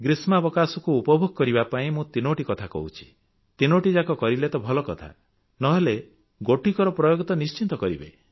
ଗ୍ରୀଷ୍ମବକାଶକୁ ଉପଯୋଗ କରିବା ପାଇଁ ମୁଁ ତିନୋଟି କଥା କହୁଅଛି ତିନୋଟି ଯାକ କରିଲେ ତ ଭଲ କଥା ନ ହେଲେ ନାହିଁ ଗୋଟିକର ପ୍ରୟୋଗ ତ ନିଶ୍ଚିତ କରିବେ